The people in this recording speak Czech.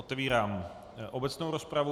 Otevírám obecnou rozpravu.